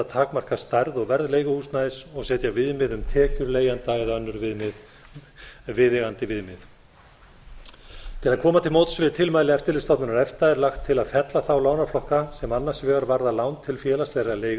takmarka stærð og verð leiguhúsnæðis og setja viðmið um tekjur leigjenda eða önnur viðeigandi viðmið til að koma til móts við tilmæli eftirlitsstofnunar efta er lagt til að fella þá lánaflokka sem annars vegar varða lán til félagslegra